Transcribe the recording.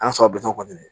An sababi naani kɔni